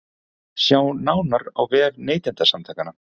Sjá nánar á vef Neytendasamtakanna